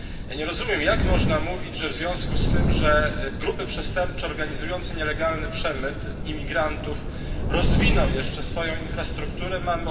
Nie rozumiem jak można mówić, że w związku z tym, że grupy przestępcze organizujące nielegalny przemyt imigrantów rozwiną jeszcze swoją infrastrukturę, mamy ograniczyć kontrolę nad